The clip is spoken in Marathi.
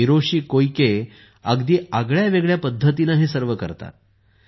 हिरोशी कोइके अगदी आगळ्या वेगळ्या पद्धतीने हे सर्व करतात